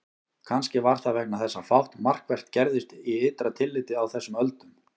Kannski var það vegna þess að fátt markvert gerðist í ytra tilliti á þessum öldum.